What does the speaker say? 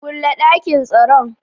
Kule dakin tsaron.